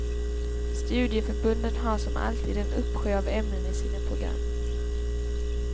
Studieförbunden har som alltid en uppsjö av ämnen i sina program.